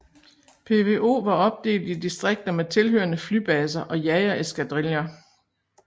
PVO var opdelt i distrikter med tilhørende flybaser og jagereskadriller